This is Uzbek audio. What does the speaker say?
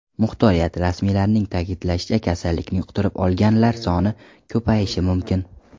Muxtoriyat rasmiylarining ta’kidlashicha, kasallikni yuqtirib olganlar soni ko‘payishi mumkin.